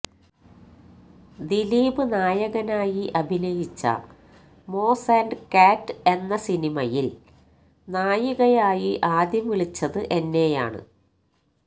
ദിലീപ് നായകനായി അഭിനയിച്ച Moz and cat എന്ന സിനിമയിൽ നായികയായി ആദ്യം വിളിച്ചത് എന്നെയാണ്